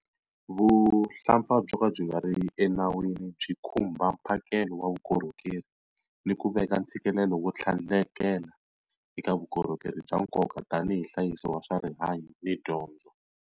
Vuhlampfa byo ka byi nga ri enawini byi khumba mphakelo wa vukorhokeri ni ku veka ntshikelelo wo tlhandlekela eka vukorhokeri bya nkoka tanihi nhlayiso wa swa rihanyu ni dyondzo.